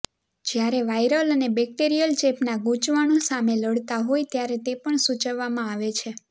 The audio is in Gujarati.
જ્યારે વાયરલ અને બેક્ટેરિયલ ચેપના ગૂંચવણો સામે લડતા હોય ત્યારે તે પણ સૂચવવામાં આવે છે